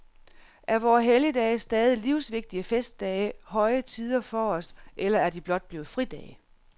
Er vore helligdage stadig livsvigtige festdage, høje tider for os eller er de blot blevet fridage?